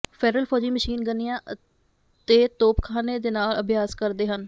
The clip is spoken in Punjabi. ਫੈਡਰਲ ਫੌਜੀ ਮਸ਼ੀਨ ਗਨਿਆਂ ਅਤੇ ਤੋਪਖਾਨੇ ਦੇ ਨਾਲ ਅਭਿਆਸ ਕਰਦੇ ਹਨ